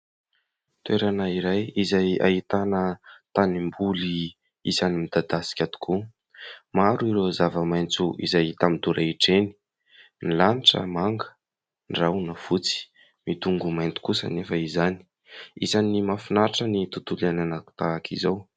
Toerana iray izay ahitana tanimboly isan'ny midadasika tokoa. Maro ireo zava-maitso izay hita midorehitra eny. Ny lanitra manga, ny rahona fotsy ; midongy ho mainty kosa anefa izany. isan'ny mahafinaritra ny tontolo iainana tahaka izao.